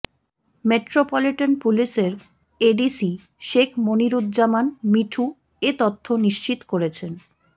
metropolitan পুলিশের ADC Sheikh Moniruzzaman Mithu এ তথ্য নিশ্চিত করেছেন